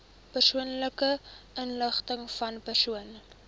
persoonlike inligtingvan persone